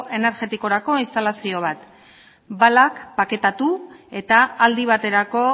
energetikorako instalazio bat balak paketatu eta aldi baterako